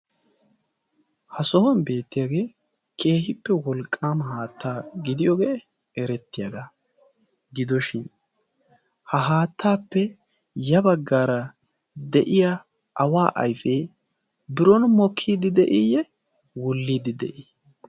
Ha sohuwan beettiyaage keehippe wolqqama haatta gidiyooge eretiyaaga gidoshin ha haattappe ya baggaara de'iya awa ayfe biron mokkide de'iyye? Wuulide de'i?